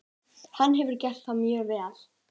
Hann hefur gert það mjög vel.